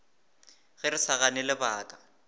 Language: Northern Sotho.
ge re sa gane lebaka